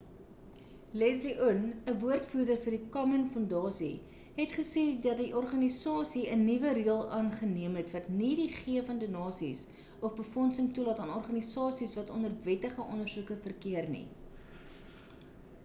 leslie aun 'n woordvoerder vir die komen fondasie het gesê dat die organisasie 'n nuwe reël aangeneem het wat nie die gee van donasies of befondsing toelaat aan organisasies wat onder wettige ondersoeke verkeer nie